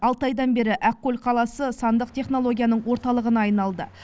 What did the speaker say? алты айдан бері ақкөл қаласы сандық технологияның орталығына айналды